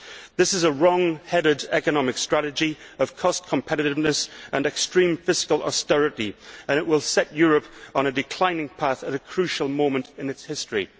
This is a wrong headed economic strategy of cost competitiveness and extreme fiscal austerity and it will set Europe on a declining path at a crucial moment in its history.